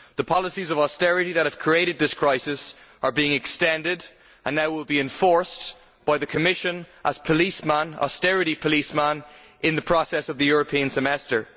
The policies of austerity that have created this crisis are being extended and now we are being forced by the Commission, as austerity policeman, into the process of the European Semester.